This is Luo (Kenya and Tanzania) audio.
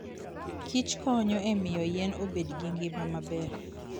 kichkonyo e miyo yien obed gi ngima maber.